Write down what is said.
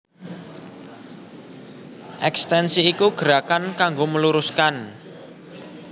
Ekstensi iku gerakan kanggo meluruskan